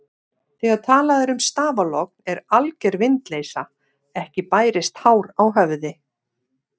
Þegar talað er um stafalogn er alger vindleysa, ekki bærist hár á höfði.